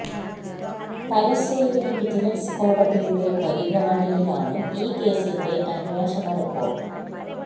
Thalassery vigilance കോടതിയുടെ പരിഗണനയിലാണ് ഈ കേസിന്റെ അന്വേഷണ റിപ്പോര്ട്ട്